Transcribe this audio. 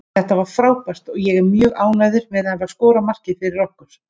Þetta var frábært og ég er mjög ánægður með að hafa skorað markið fyrir okkur.